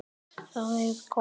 Lægri vígslur voru